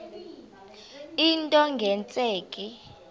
into nge tsheki